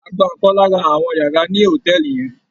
A gba ọ̀kan lára àwọn yàrá ní hòtẹ́ẹ̀lì yẹn.